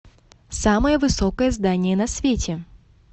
самое высокое здание на свете